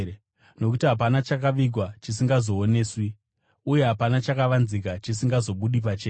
Nokuti hapana chakavigwa chisingazooneswi, uye hapana chakavanzika chisingazobudi pachena.